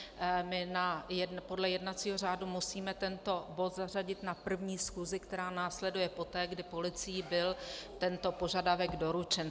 My podle jednacího řádu musíme tento bod zařadit na první schůzi, která následuje poté, kdy policií byl tento požadavek doručen.